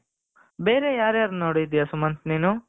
ಬೇರೆ ಯಾರ್ ಯಾರದ್ದು ನೋಡಿದ್ಯಾ ಸುಮಂತ್ ನೀನು,